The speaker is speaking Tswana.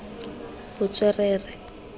botswerere